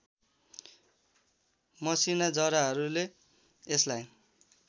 मसिना जराहरूले यसलाई